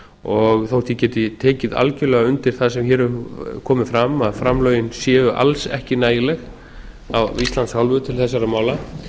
og þótt ég geti tekið algjörlega undir það sem hér hefur komið fram að framlögin séu alls ekki nægileg af íslands hálfu til þessara mála